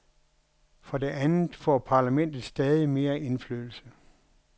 For det andet får parlamentet stadig mere indflydelse.